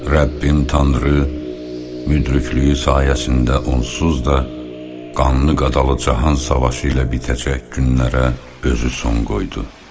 Rəbbin Tanrı müdriklüyü sayəsində onsuz da qanlı qadalı cahan savaşı ilə bitəcək günlərə özü son qoydu.